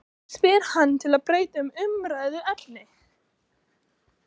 spyr hann til að breyta um umræðuefni.